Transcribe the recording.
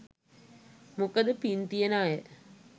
මොකද පින් තියෙන අය